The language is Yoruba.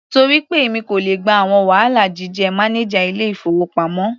Torí pé èmi kò le gba àwọn wàhálà jíjẹ́ mánájà ilé-ìfowópamọ́.